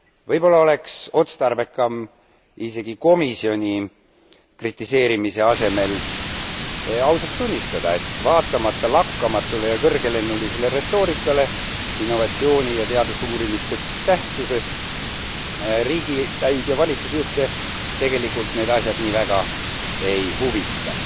Võib olla oleks otstarbekam isegi komisjoni kritiseerimise asemel ausalt tunnistada, et vaatamata lakkamatule ja kõrgelennulisele retoorikale innovatsiooni ja teadusuuringute tähtsusest riigipäid ja valitsusjuhte tegelikult need asjad nii väga ei huvita.